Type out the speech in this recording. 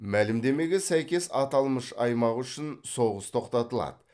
мәлімдемеге сәйкес аталмыш аймақ үшін соғыс тоқтатылады